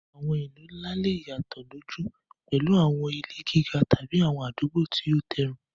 Àwọn ìlú ńlá lè yàtọ̀ lójú, pẹ̀lú àwọn ilé gíga tàbí àwọn àdúgbò tí ó tẹ́rùn.